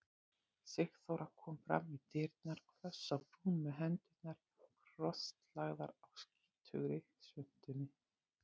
Sigþóra kom fram í dyrnar hvöss á brún með hendurnar krosslagðar á skítugri svuntunni.